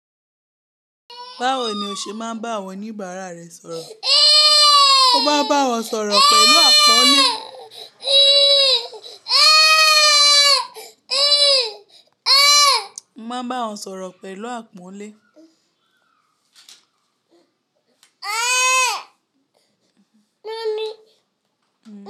Báwo ni o ṣe máa ń bá àwọn oníbàárà rẹ sọ̀rọ̀? Mo máa ń bá wọn sọ̀rọ̀ pẹ̀lú àpọ́nlé. Mo ma n bá wọn sọ̀rọ̀ pẹ̀lú àpọ́nlé.